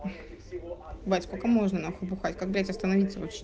бать сколько можно нахуй бухать как блять остановить вообще